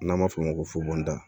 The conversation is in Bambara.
N'an b'a f'o ma ko fufunu